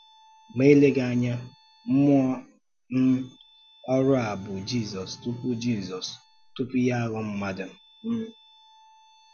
Ma eleghị anya, mmụọ um orù a bụ Jizọs tupu Jizọs tupu ya aghọọ mmadụ. um